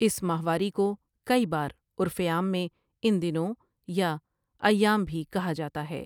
اس ماہواری کو کئی بار عرف عام میں ان دنوں یا ایام بھی کہا جاتا ہے ۔